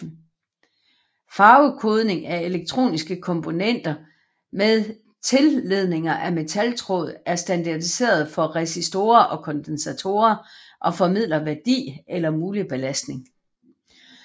Farvekodning af elektroniske komponenter med tilledninger af metaltråd er standardiseret for resistorer og kondensatorer og formidler værdi eller mulig belastning